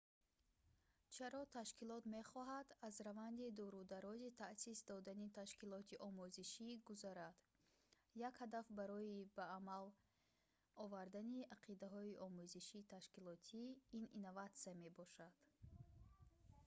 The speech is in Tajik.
чаро ташкилот мехоҳад аз раванди дурударози таъсис додани ташкилоти омӯзишӣ гузарад як ҳадаф барои ба амал овардани ақидаҳои омӯзиши ташкилотӣ ин инноватсия мебошад